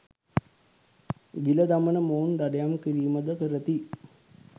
ගිල දමන මොවුන් දඩයම් කිරීම ද කරති.